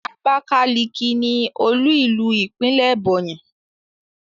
Abakalaki ni olu ilu ipinle Ebonyi